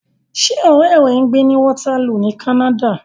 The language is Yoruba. Ṣé ọ̀rẹ́ rẹ ń gbé ní Waterloo ní Canada?